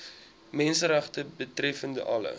menseregte betreffende alle